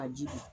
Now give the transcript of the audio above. A ji